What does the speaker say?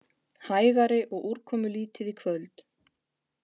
Hægari og úrkomulítið í kvöld